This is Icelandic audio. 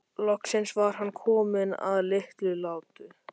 Loksins var hann kominn að Litlutá.